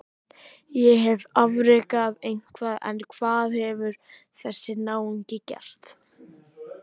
Ég hef afrekað eitthvað en hvað hefur þessi náungi gert?